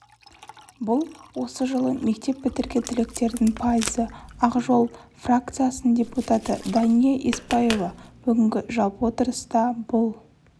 бұл осы жылы мектеп бітірген түлектердің пайызы ақжол фракциясының депутаты дания еспаева бүгінгі жалпы отырыста бұл